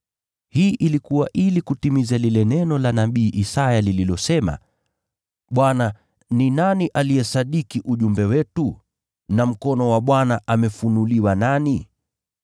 Hili lilikuwa ili kutimiza lile neno la nabii Isaya lililosema: “Bwana, ni nani aliyeamini ujumbe wetu, na mkono wa Bwana umefunuliwa kwa nani?”